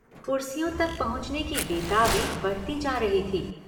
कुर्सियों तक पहुंचने की बेताबी बढ़ती जा रही थी।